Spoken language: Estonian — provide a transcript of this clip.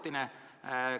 Kas see on ajutine?